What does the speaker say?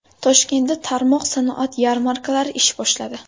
Toshkentda tarmoq sanoat yarmarkalari ish boshladi.